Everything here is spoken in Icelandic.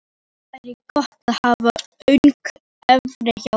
Nú væri gott að hafa Ögn Engifer hjá sér!